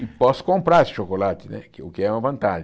E posso comprar esse chocolate né, que o que é uma vantagem.